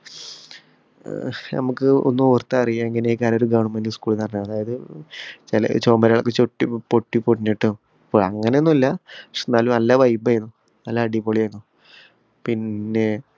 അഹ് നമ്മക്ക് ഒന്ന് ഓര്‍ത്താ അറിയാം എങ്ങനെയൊക്കെയാണ് ഒരു government school എന്ന് പറഞ്ഞാല്‍. അതായത്, ചെല ചൊമരുകള്‍ ചൊട്ടി പൊട്ടി പൊടിഞ്ഞിട്ടും, ഇപ്പൊ അങ്ങനെയൊന്നുമില്ല. എന്നാലും നല്ല vibe ആയിനു. നല്ല അടിപൊളി ആയിനു. പിന്നെ,